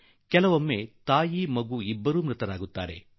ಇನ್ನೂ ಕೆಲವೊಮ್ಮೆ ತಾಯಿ ಮಗು ಇಬ್ಬರೂ ಸಾವನ್ನಪ್ಪಿ ಬಿಡುವರು